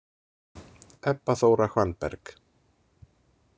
Ebba Þóra Hvannberg.